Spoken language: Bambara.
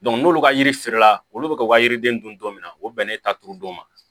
n'olu ka yiri fere la olu bɛ ka u ka yiriden dun don min na o bɛnnen ta turu don ma